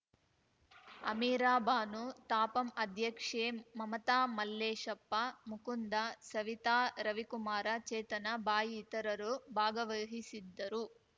ಅಮೀರಾಬಾನು ತಾಪಂ ಅಧ್ಯಕ್ಷೆ ಮಮತಾ ಮಲ್ಲೇಶಪ್ಪ ಮುಕುಂದ ಸವಿತಾ ರವಿಕುಮಾರ ಚೇತನ ಬಾಯಿ ಇತರರು ಭಾಗವಹಿಸಿದ್ದರು